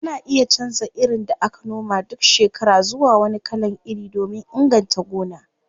Ana iya canza irin da aka noma duk shekara zuwa wani kalan iri domin inganta gona.